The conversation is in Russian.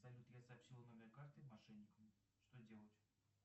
салют я сообщила номер карты мошенника что делать